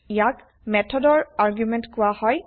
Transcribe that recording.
ইয়াক160 মেথৰ আৰ্গুমেন্ত160 কোৱা হয়